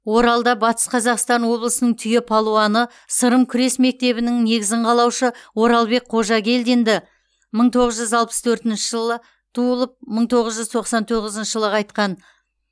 оралда батыс қазақстан облысының түйе палуаны сырым күрес мектебінің негізін қалаушы оралбек қожагелдинді мың тоғыз жүз алпыс төртінші жылы туылып мың тоғыз жүз тоқсан тоғызыншы жылы қайтқан